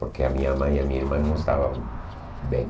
Porque a minha mãe e a minha irmã não estavam bem.